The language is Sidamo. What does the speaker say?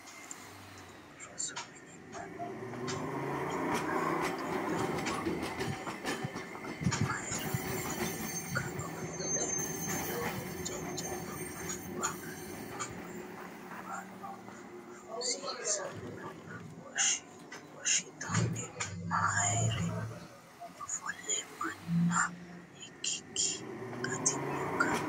Rosu mine mannu mayii qixxaawo heedhenna mare ofollinokka? Ofolle noohu jajjabbu amuwuno annuwuno rosiisano woshshiteenna mare ofollino manna ikkikki gatinokka?